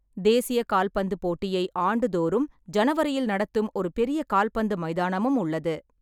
தேசிய கால்பந்து போட்டியை ஆண்டுதோறும் ஜனவரியில் நடத்தும் ஒரு பெரிய கால்பந்து மைதானமும் உள்ளது.